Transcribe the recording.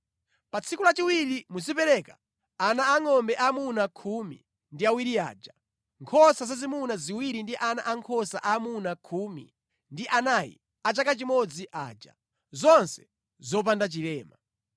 “ ‘Pa tsiku lachiwiri muzipereka ana angʼombe aamuna khumi ndi awiri aja, nkhosa zazimuna ziwiri ndi ana ankhosa aamuna khumi ndi anayi a chaka chimodzi aja, zonse zopanda chilema.